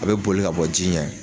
A bɛ boli ka bɔ ji ɲɛ